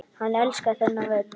Hann elskar þennan völl.